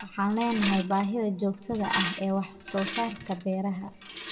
Waxaan leenahay baahida joogtada ah ee wax soo saarka beeraha.